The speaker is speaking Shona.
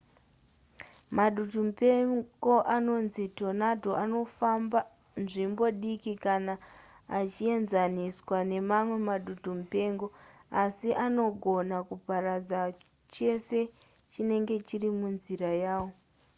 madutumupengo anonzi tornado anofamba nzvimbo diki kana achienzaniswa nemamwe madutumupengo asi anogona kuparadza chese chinenge chiri munzira yawo